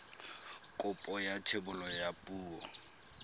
kopo ya thebolo ya poo